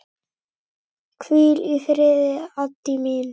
Hvíl í friði, Addý mín.